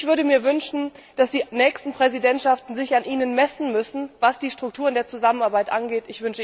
Ich würde mir wünschen, dass die nächsten Präsidentschaften sich an Ihnen messen müssen, was die Strukturen der Zusammenarbeit angeht.